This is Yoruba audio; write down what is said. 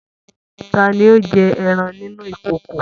Ta ni ó jẹ́ ẹran inú ìkòkò?